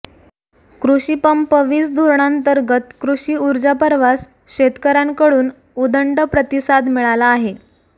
कृषी पंप वीज धोरणांतर्गत कृषी ऊर्जापर्वास शेतकऱ्यांकडून उदंड प्रतिसाद मिळाला आहे